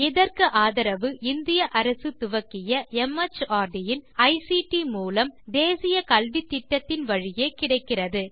இதற்கு ஆதரவு இந்திய அரசு துவக்கிய மார்ட் இன் ஐசிடி மூலம் தேசிய கல்வித்திட்டத்தின் வழியே கிடைக்கிறது